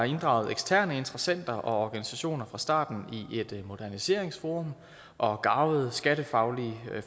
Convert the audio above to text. inddraget eksterne interessenter og organisationer fra starten i et moderniseringsforum og garvede skattefaglige